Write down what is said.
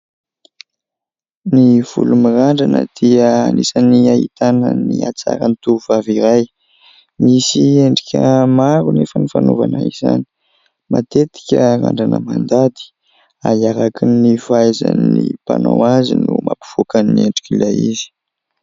Ny volo mirandrana dia anisan'ny ahitana ny hatsarany tovovavy iray. Misy endrika maro nefa ny fanovana izany matetika randrana mandady arakaraka ny fahaizan'ny mpanao azy no mampivoaka endrika ilay izy.